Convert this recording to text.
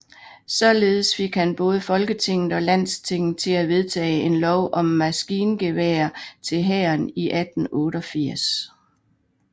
Således fik han både Folketinget og Landstinget til at vedtage om lov om magasingeværer til hæren i 1888